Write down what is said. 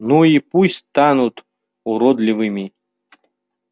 ну и пусть станут уродливыми